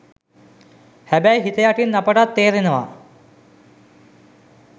හැබැයි හිත යටින් අපටත් තේරෙනවා